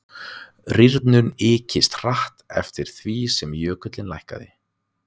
rýrnunin ykist hratt eftir því sem jökullinn lækkaði